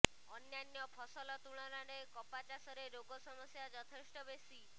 ଅନ୍ୟାନ୍ୟ ଫସଲ ତୁଳନାରେ କପା ଚାଷରେ ରୋଗ ସମସ୍ୟା ଯଥେଷ୍ଟ ବେଶୀ